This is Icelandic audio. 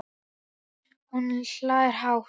Og hún hlær hátt.